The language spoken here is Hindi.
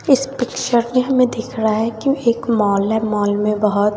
इस पिक्चर में हमें दिख रहा है की एक मॉल है मॉल में बहोत--